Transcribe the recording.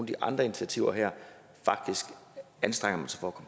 de andre initiativer her faktisk anstrenger sig for